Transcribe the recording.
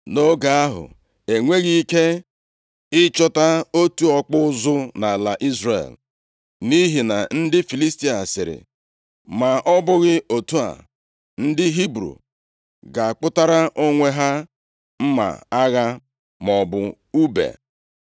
Nʼoge ahụ, e nweghị ike ịchọta otu ọkpụ ụzụ nʼala Izrel, nʼihi na ndị Filistia sịrị, “Ma ọ bụghị otu a, ndị Hibru ga-akpụtara onwe ha mma agha maọbụ ùbe.”